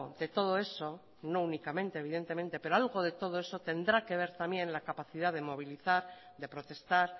de todo eso no únicamente evidentemente pero algo de todo eso tendrá que ver también la capacidad de movilizar de protestar